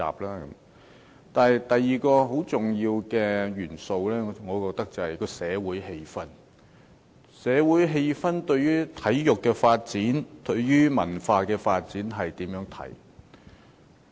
而第二個很重要的元素，我便認為是社會氣氛，即社會對體育和文化發展的看法。